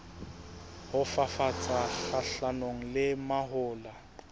ho fafatsa kgahlanong le mahola